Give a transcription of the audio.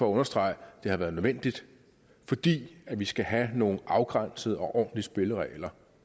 understrege at det har været nødvendigt fordi vi skal have nogle afgrænsede og ordentlige spilleregler